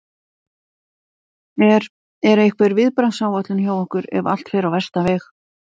Er, er einhver viðbragðsáætlun hjá ykkur ef að allt fer á versta veg?